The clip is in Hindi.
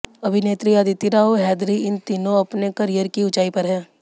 अभिनेत्री अदिति राव हैदरी इन दिनों अपने करियर की ऊंचाई पर हैं